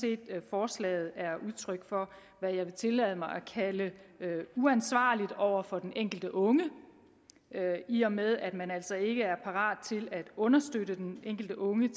forslaget er udtryk for hvad jeg vil tillade mig at kalde uansvarlighed over for den enkelte unge i og med at man altså ikke er parat til at understøtte den enkelte unge